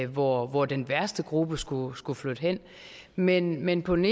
hvor hvor den værste gruppe skulle skulle flytte hen men men på den